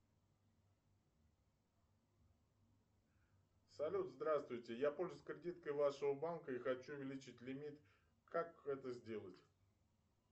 салют здравствуйте я пользуюсь кредиткой вашего банка и хочу увеличить лимит как это сделать